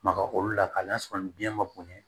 Maga olu la k'a lasɔrɔ ni biyɛn ma bonya